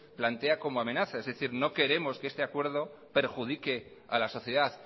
plantea como amenaza es decir no queremos que ese acuerdo perjudique a la sociedad